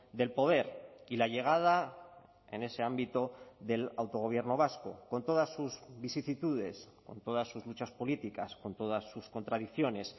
del poder y la llegada en ese ámbito del autogobierno vasco con todas sus vicisitudes con todas sus luchas políticas con todas sus contradicciones